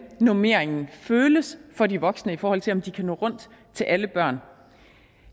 normeringen føles for de voksne i forhold til om de kan nå rundt til alle børn